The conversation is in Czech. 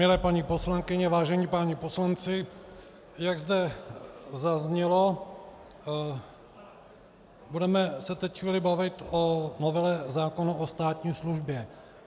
Milé paní poslankyně, vážení páni poslanci, jak zde zaznělo, budeme se teď chvíli bavit o novele zákona o státní službě.